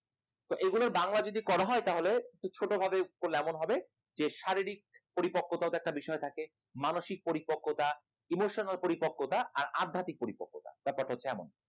এগুলোর বাংলা যদি করা হয় তাহলে ছোটো ভাবে করলে এমন হবে শারীরিক পরিপক্কতা একটা বিষয় থাকে মানসিক পরিপক্কতা emotional পরিপক্কতা আর অ্যাধাতিক পরিপক্কতা, ব্যাপার টা হচ্ছে এমন